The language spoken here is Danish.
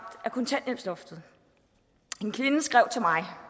af kontanthjælpsloftet en kvinde skrev til mig